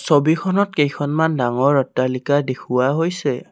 ছবিখনত কেইখনমান ডাঙৰ অট্টালিকা দেখুওৱা হৈছে।